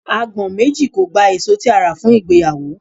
Agbọ̀n méjì kò gba èso tí a rà fún ìgbéyàwó.